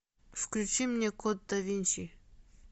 включи мне код да винчи